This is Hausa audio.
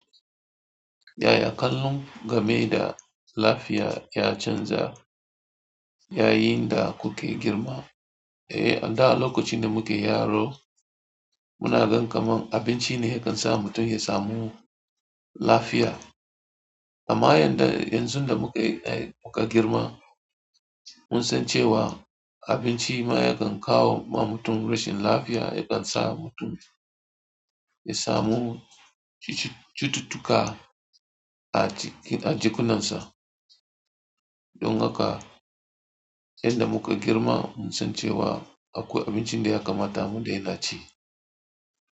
Yaya kallon game da lafiya ya canza yayin da kuke girma. Eh, a da lokacin da muke yaro muna gan kamar abinci ne yake sa mutum ya samu lafiya. Amma yanzu da muka girma mun san cewa abinci ma yakan kawo ma mutum rashin lafiya, yakan sa mutum ya samu cututtuka a jikkunansa. Don haka yadda muka girma mun san cewa akwai abinci da ya kamata mu daina ci.